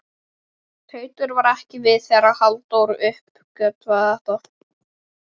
Teitur var ekki við þegar Halldór uppgötvaði þetta.